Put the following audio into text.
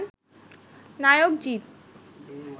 নায়ক জিত